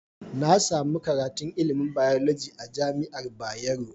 Nasami karatun ilimin biology a jamiar bayero